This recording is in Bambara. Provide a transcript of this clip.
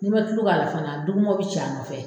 N'i man tulu k'a la fana dumɔgɔw bɛ ci i nɔfɛ.